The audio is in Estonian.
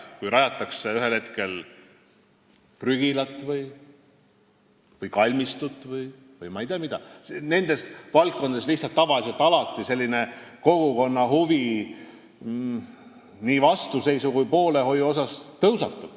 Kui rajatakse prügilat või kalmistut või ma ei tea, mida veel, siis nendes asjades tavaliselt alati tekib kogukonna huvi nii vastuseisu kui ka poolehoiu mõttes.